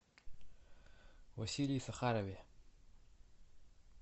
василии сахарове